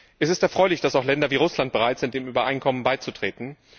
Es ist erfreulich, dass auch Länder wie Russland bereit sind, dem Übereinkommen beizutreten.